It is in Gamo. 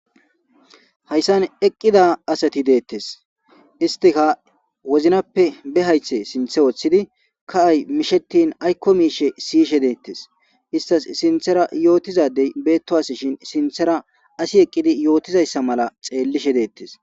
hayssan eqqida asati deettes istika wozinappe be haythe sinthe ooththidi ka7ay mishetin aykko miishe siyishe deettes istas sinthera yootizadey beetto as shin sinthera asi eqqidi yootizayssa mala xeellishe deettes